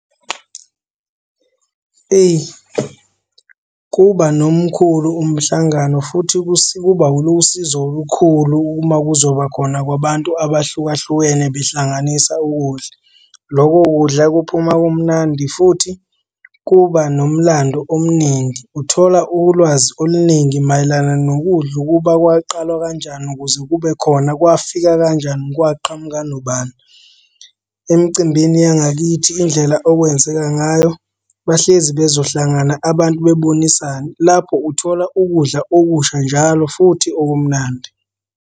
Eyi kuba nomkhulu umhlangano futhi kuba lusizo olukhulu uma kuzoba khona kwabantu abahlukahlukene behlanganisa ukudla. Loko kudla kuphuma kumnandi futhi kuba nomlando omningi. Uthola ulwazi oluningi mayelana nokudla ukuba kwaqalwa kanjani ukuze kube khona. Kwafika kanjani, kwaqhamuka nobani? Emcimbini yangakithi indlela okwenzeka ngayo bahlezi bezohlangana abantu bebonisane. Lapho uthola ukudla okusha njalo futhi okumnandi.